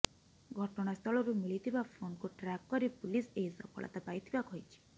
ଘଟଣାସ୍ଥଳରୁ ମିଳିଥିବା ଫୋନ୍କୁ ଟ୍ରାକ୍ କରି ପୁଲିସ୍ ଏହି ସଫଳତା ପାଇଥିବା କହିଛି